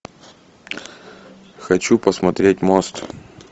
хочу посмотреть мост